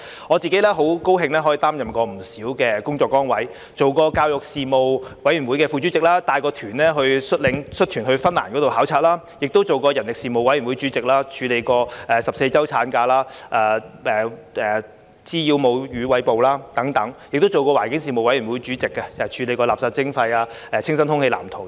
我自己很高興可以擔任不少工作崗位，當過教育事務委員會副主席，率團到芬蘭考察；亦當過人力事務委員會主席，處理過14周產假、滋擾母乳餵哺等；亦當過環境事務委員會主席，處理過垃圾徵費、清新空氣藍圖等。